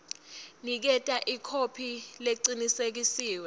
niketa ikhophi lecinisekisiwe